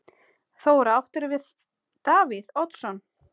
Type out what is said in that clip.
Þóra: Áttirðu við Davíð Oddsson?